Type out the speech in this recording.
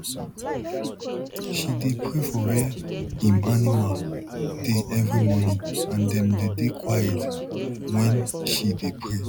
she dey pray for where em animal dey every morning and dem dey dey quiet wen she dey pray